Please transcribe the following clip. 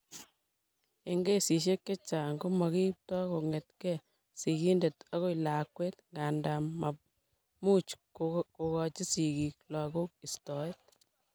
Eng' kesishek che chang' ko makiipto kong'etke sigindet akoi lakwet, nga nda much kokachi sikik lagok istoet.